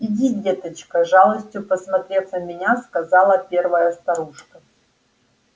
иди деточка с жалостью посмотрев на меня сказала первая старушка